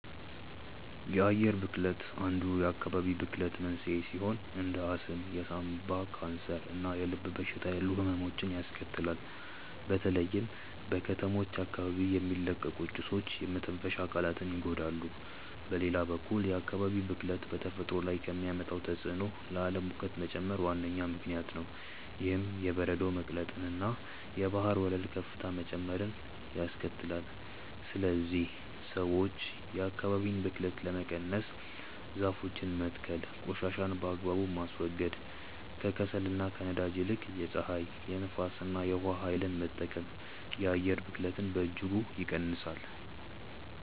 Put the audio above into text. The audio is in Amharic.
የአየር ብክለት አንዱ የአካባቢ ብክለት መንስኤ ሲሆን እንደ አስም፣ የሳምባ ካንሰር እና የልብ በሽታ ያሉ ህመሞችን ያስከትላል። በተለይም በከተሞች አካባቢ የሚለቀቁ ጭሶች የመተንፈሻ አካላትን ይጎዳሉ። በሌላ በኩል የአካባቢ ብክለት በተፈጥሮ ላይ ከሚያመጣው ተጽዕኖ ለዓለም ሙቀት መጨመር ዋነኛ ምክንያት ነው። ይህም የበረዶ መቅለጥንና የባህር ወለል ከፍታ መጨመርን ያስከትላል። ስለዚህ ሰዎች የአካባቢን ብክለት ለመቀነስ ዛፎችን መትከል ቆሻሻን በአግባቡ ማስወገድ፣ ከከሰልና ከነዳጅ ይልቅ የፀሐይ፣ የንፋስ እና የውሃ ኃይልን መጠቀም የአየር ብክለትን በእጅጉ ይቀንሳል።